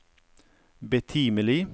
betimelig